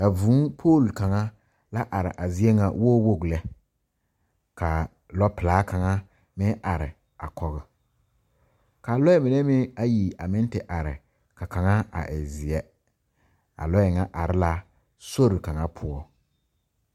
A Vuu pole kaŋa la are a zie ŋa woowoo lɛ ka lɔpelaa kaŋa meŋ are a kɔge ka lɔɛ mine meŋ ayi a meŋ te are ka kaŋa a e zeɛ a lɔɛ ŋa are la sori kaŋa poɔ